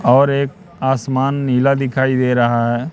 और एक आसमान नीला दिखाई दे रहा है।